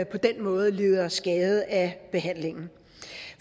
på den måde lider skade af behandlingen